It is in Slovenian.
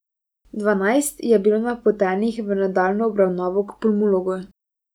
Dvanajst je bilo napotenih v nadaljnjo obravnavo k pulmologu.